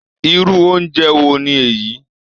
Irú oúnjẹ wo ni èyí?